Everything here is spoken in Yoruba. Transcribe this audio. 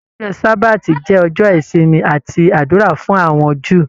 Ọjọ sabati jẹ ọjọ ìsinmi àti ádùrá fún àwọn Júù.